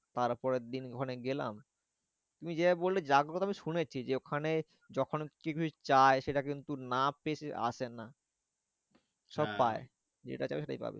তার পরের দিন ওখানে গেলাম। তুমি যেভাবে বললে জাগ্রত আমি শুনেছি যে ওখানে যখন কেউ কিছু চায় সেটা কিন্তু না পেয়ে সে আসে না। সব পায় যেটা চাইবে সেটা পাবে।